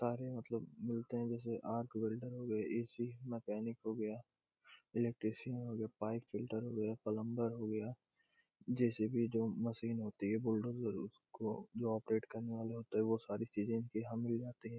सारे मतलब मिलते है जैसे आर्क वेल्डर ए.सी. मैकेनिक हो गया इलेक्ट्रीशियन हो गया पाइप फिटर प्लम्बर हो गया जे.सी.बी. जो मशीन होती है बुलडोज़र उसको जो ऑपरेट करने वाले होते हैं वो सारी इनके यहाँ मिल जाते है।